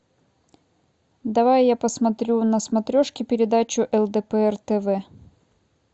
давай я посмотрю на смотрешке передачу лдпр тв